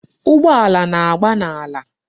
Ụgbọala na-agba n'ala.